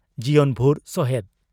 ᱡᱤᱭᱚᱱ ᱵᱷᱩᱨ ᱥᱚᱦᱮᱫ